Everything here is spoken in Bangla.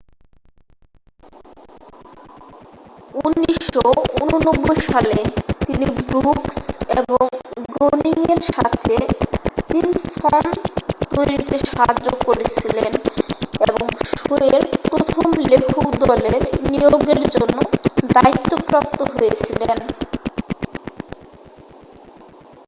1989 সালে তিনি ব্রুকস এবং গ্রোনিংয়ের সাথে সিম্পসনস তৈরিতে সাহায্য করেছিলেন এবং শোয়ের প্রথম লেখক দলের নিয়োগের জন্য দায়িত্বপ্রাপ্ত হয়েছিলেন